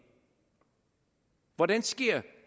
hvordan sker